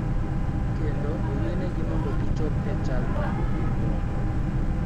Kendo oyienegi mondo gichop e chalno gi ng�uono .